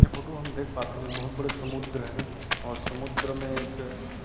ए photo हम देख पाथन एह बहुत बड़ा समुद्र हरे और समुन्द्र में एक--